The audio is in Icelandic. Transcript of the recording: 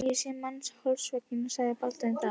Ég hef séð mann hálshöggvinn, sagði Baldvin þá.